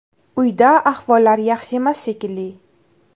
Uyda ahvollari yaxshi emas, shekilli.